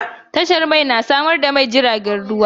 Tashar mai na samar da mai ga jiragen ruwa.